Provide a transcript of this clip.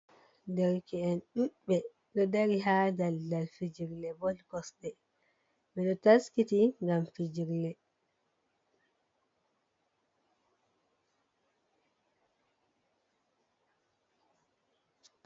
Dereke'en ɗuuɗɓe ɗo dari, haa daldal fijirle bol kosɗe, ɓe ɗo taskiti ngam fijirle.